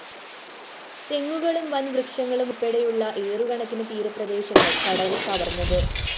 തെങ്ങുകളും വന്‍ വൃക്ഷങ്ങളും ഉള്‍പ്പെടെയുള്ള ഏക്കറുകണക്കിന് തീരപ്രദേശങ്ങള്‍ കടല്‍ കവര്‍ന്നത്